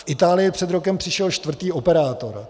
V Itálii před rokem přišel čtvrtý operátor.